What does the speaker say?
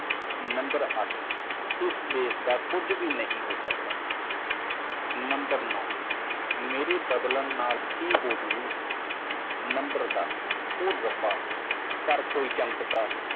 ਇਸ ਦੇਸ਼ ਨੂੰ ਕੁਝ ਨਹੀਂ ਹੋ ਸਕਦਾ ਨੰਬਰ ਨੌਂ ਜੇਕਰ ਮੈਂ ਬਦਲਦਾ ਹਾਂ ਤਾਂ ਕੀ ਹੋਵੇਗਾ ਨੰਬਰ ਦਸ ਇੱਕ ਚਮਤਕਾਰ ਕਰੋ